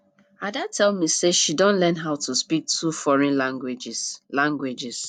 ada tell me say she don learn how to speak two foreign languages languages